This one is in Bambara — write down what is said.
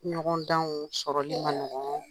ɲɔgɔndanw sɔrɔli ma nɔgɔ,